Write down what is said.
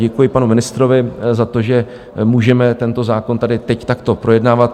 Děkuji panu ministrovi za to, že můžeme tento zákon tady teď takto projednávat.